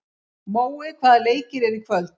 Mói, hvaða leikir eru í kvöld?